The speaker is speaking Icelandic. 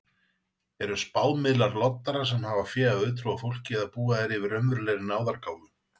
Eru spámiðlar loddarar sem hafa fé af auðtrúa fólki eða búa þeir yfir raunverulegri náðargáfu?